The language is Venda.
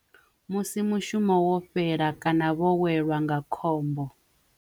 Musi mushumo wo fhela kana vho welwa nga khombo.